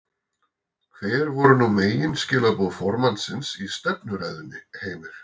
Hver voru nú megin skilaboð formannsins í stefnuræðunni Heimir?